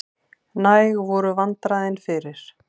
Næg voru vandræðin fyrir.